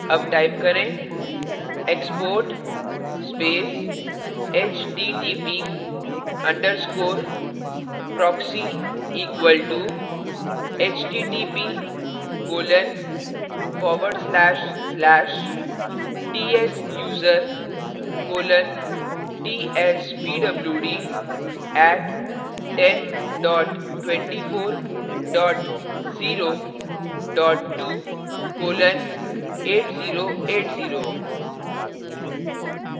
अब type करें